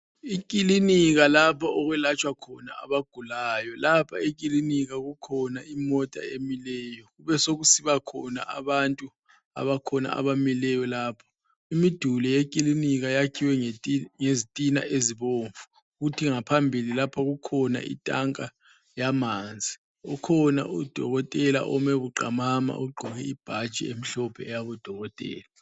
Ikilinika lapha okwelatshwa khona abagulayo. Lapha ekilinika kukhona imota emileyo. Kubesokusibakhona abantu abakhona abamileyo lapho. Imiduli yekilinika yakhiwe ngezitina ezibomvu. Kuthi ngaphambili lapha kukhona itanka yamanzi. Ukhona udokotela ome buqamama ogqoke ibhatshi emhlophe yabodokotela.